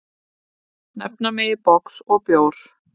Nefna megi box og bjór.